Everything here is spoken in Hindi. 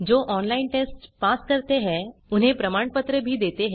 ऑनलाइन टेस्ट पास करने वालों को प्रमाणपत्र देते हैं